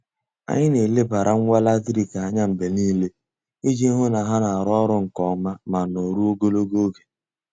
Anyị na-elebara ngwa latrik anya mgbe niile iji hụ na ha na-arụ ọrụ nke ọma ma nọruo ogologo oge.